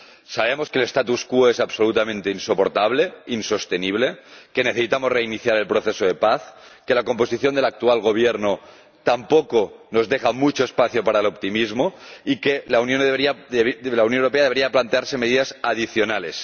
Sabemos que el statu quo es absolutamente insoportable, insostenible, que necesitamos reiniciar el proceso de paz, que la composición del actual Gobierno tampoco nos deja mucho espacio para el optimismo, y que la Unión Europea debería plantearse medidas adicionales.